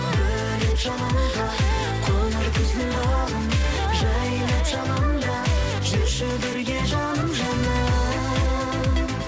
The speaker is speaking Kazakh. бөлеп жалынға қоңыр күздің бағын жайнап жанымда жүрші бірге жаным жаным